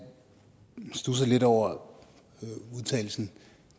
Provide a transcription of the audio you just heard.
studser lidt over udtalelsen